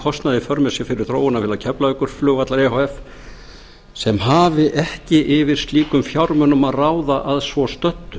kostnað í för með sér fyrir þróunarfélag keflavíkurflugvallar e h f sem hafi ekki yfir slíkum fjármunum að ráða að svo stödd